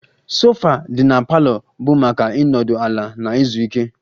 Sofa dị na parlor bụ maka ịnọdụ ala na izu ike